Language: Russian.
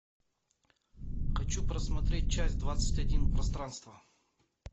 хочу просмотреть часть двадцать один пространство